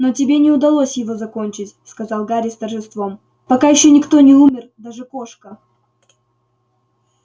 но тебе не удалось его закончить сказал гарри с торжеством пока ещё никто не умер даже кошка